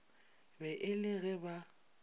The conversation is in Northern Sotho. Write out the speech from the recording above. be e le ge ba